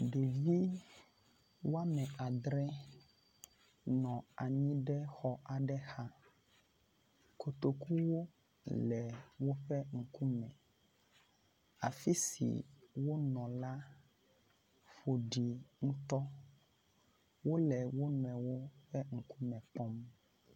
Ɖevi wɔme adre nɔ anyi ɖe xɔ aɖe xa. Kotokuwo le woƒe ŋkume. Afi si wonɔ la ƒoɖi ŋutɔ. Wo le wo nɔewo ƒe ŋkume kpɔm.